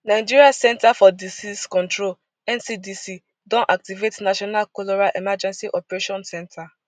nigeria centre for disease control ncdc don activate national cholera emergency operation center